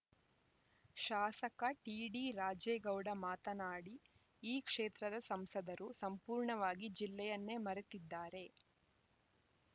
ಶಾಸಕ ಟಿಡಿ ರಾಜೇಗೌಡ ಮಾತನಾಡಿ ಈ ಕ್ಷೇತ್ರದ ಸಂಸದರು ಸಂಪೂರ್ಣವಾಗಿ ಜಿಲ್ಲೆಯನ್ನೇ ಮರೆತಿದ್ದಾರೆ